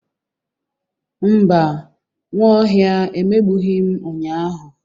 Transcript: Mba, Nwaohia emegbughi m ụnyahụ.